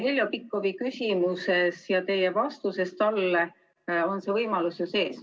Heljo Pikhofi küsimuses ja teie vastuses talle on see võimalus ju sees.